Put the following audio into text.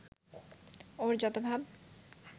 ওর যত ভাব